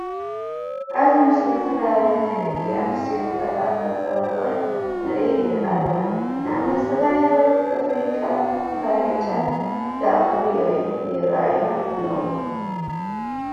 ኣብዚ ምስሊ ዝተፈላለዩ ናይ ደቂ ኣነስትዮ መፀባበቂ ንርኢ ኣለና ። ንኣብነት ዝተፈላለዩ ፅፍሪ ቀለም ፣ዝተፈላለዩ ጨና ዝኣምሰሉ ይረኣዩና ኣለዉ ።